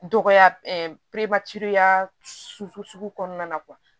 Dɔgɔya sugu kɔnɔna na